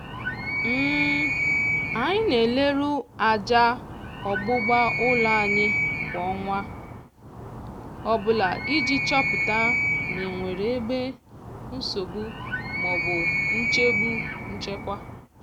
anyị na-eleru aja ogbugbu ụlọ anya kwa ọnwa ọbụla iji chọpụta ma e nwere ebe nwere nsogbu maọbụ nchegbu nchekwa.